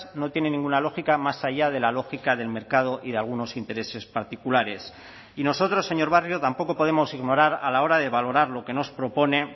no tiene ninguna lógica más allá de la lógica del mercado y de algunos intereses particulares y nosotros señor barrio tampoco podemos ignorar a la hora de valorar lo que nos propone